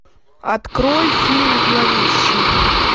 открой фильм зловещий